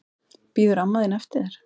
Bíður amma þín eftir þér?